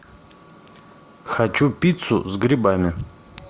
хочу пиццу с грибами